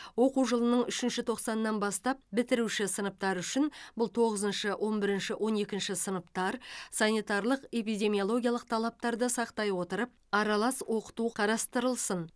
оқу жылының үшінші тоқсанынан бастап бітіруші сыныптар үшін бұл тоғызыншы он бірінші он екінші сыныптар санитарлық эпидемиологиялық талаптарды сақтай отырып аралас оқыту қарастырылсын